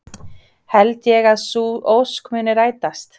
Held ég að sú ósk muni rætast?